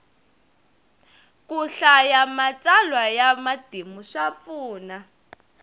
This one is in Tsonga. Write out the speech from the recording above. ku hlaya matsalwa ya matimu swa pfuna